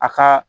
A ka